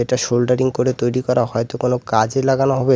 এটা সোল্ডারিং করে তৈরি করা হয়ত কোনো কাজে লাগানো হবে যে--